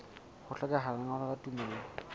ho hlokeha lengolo la tumello